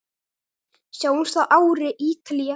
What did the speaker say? Sjáumst að ári, Ítalía.